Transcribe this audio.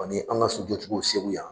Ani an' ŋa sojɔ cogo Segu yan